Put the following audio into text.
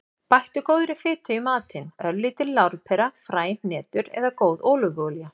Bættu góðri fitu í matinn; örlítil lárpera, fræ, hnetur eða góð ólífuolía.